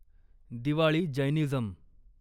Diwali Jainism